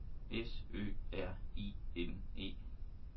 S Ø R I N E